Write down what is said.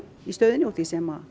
í stöðunni úr því sem